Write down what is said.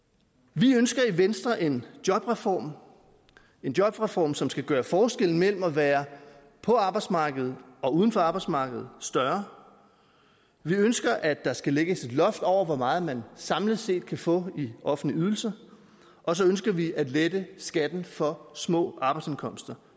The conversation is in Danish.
vi ønsker i venstre en jobreform en jobreform som skal gøre forskellen mellem at være på arbejdsmarkedet og uden for arbejdsmarkedet større vi ønsker at der skal lægges et loft over hvor meget man samlet set kan få i offentlig ydelse og så ønsker vi at lette skatten for små arbejdsindkomster